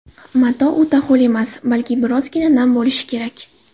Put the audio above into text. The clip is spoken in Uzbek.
Mato o‘ta ho‘l emas, balki birozgina nam bo‘lishi kerak.